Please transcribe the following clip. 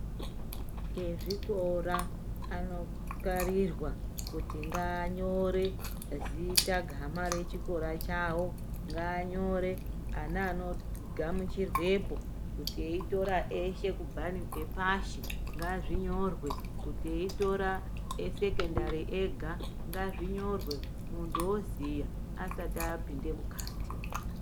Ezvikora anokararirwa kuti ngaanyore zita, gama rechikora chawo, ngaanyore ana anogamuchirwepo eitora eshe kubva ngepashi, ngazvinyorwe kuti eitora esekendari ega, ngazvinyorwe, mundu oziya asati apinda mukhati.